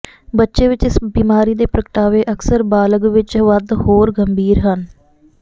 ਬੱਚੇ ਵਿਚ ਇਸ ਬਿਮਾਰੀ ਦੇ ਪ੍ਰਗਟਾਵੇ ਅਕਸਰ ਬਾਲਗ ਵਿੱਚ ਵੱਧ ਹੋਰ ਗੰਭੀਰ ਹਨ